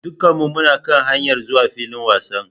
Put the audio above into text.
Dukkanmu muna kan hanyar zuwa filin wasan.